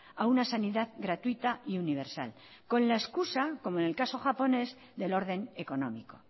a una sanidad gratuita y universal con la excusa como en el caso japonés del orden económico